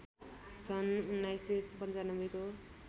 सन् १९९५ को